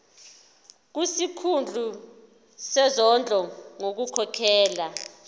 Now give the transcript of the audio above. kusikhulu sezondlo ngokukhokhela